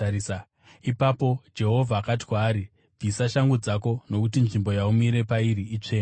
“Ipapo Jehovha akati kwaari, ‘Bvisa shangu dzako; nokuti nzvimbo yaumire pairi itsvene.